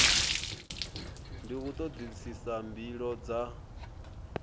ndi u todisisa mbilo dza